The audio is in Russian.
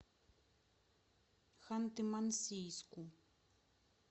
ханты мансийску